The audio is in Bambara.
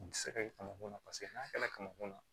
U tɛ se ka kɛ kamankun na paseke n'a kɛra kamankun na